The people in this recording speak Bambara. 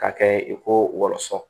K'a kɛ i ko wɔlɔsɔ